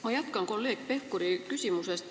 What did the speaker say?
Ma jätkan kolleeg Pevkuri küsimust.